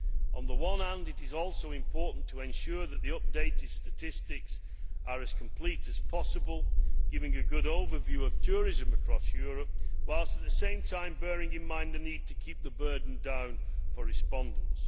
On the one hand, it is also important to ensure that the updated statistics are as complete as possible, giving a good overview of tourism across Europe, whilst, on the other hand, bearing in mind the need to keep the burden down for respondents.